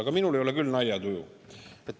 Aga minul ei ole küll naljatuju.